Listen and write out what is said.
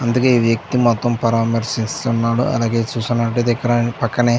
అందుకే ఈ వ్యక్తి మొత్తం పరామర్శిస్తున్న అలాగే చూస్తున్నట్లయితే ఇక్కడ పక్కనే --